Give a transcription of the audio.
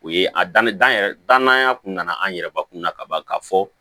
O ye a dannen dan yɛrɛ ye dananya kun nana an yɛrɛ bakun na ka ban ka fɔ